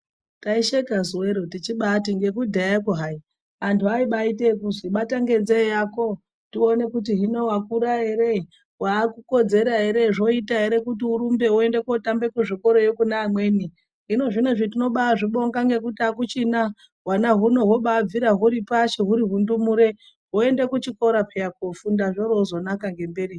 Taisheka zuwero tichibati ngekudhayakwo hai antu abaite ekuzwi bata ngenzee yako tione kuti hino wakura ere, waakukodzera ere zvoita ere kuti urumbe uende kotamba kuzvikorayo kuneamweni. Hino zvinezvi tinozvibonga akuchina, hwana huno hwombabvira huchiri ngepashi huri hundumure hoenda kuchikota peya kofunda zvorozonaka ngemberiyo.